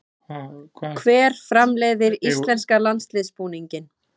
Hver framleiðir íslenska landsliðsbúninginn?